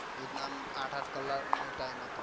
એવી રીત ના આમ આંઠ આંઠ કલાક નો time હતો.